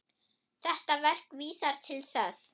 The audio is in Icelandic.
Þetta verk vísar til þess.